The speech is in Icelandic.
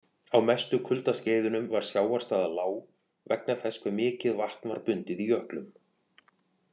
Á mestu kuldaskeiðunum var sjávarstaða lág vegna þess hve mikið vatn var bundið í jöklum.